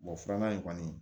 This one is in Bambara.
filanan in kɔni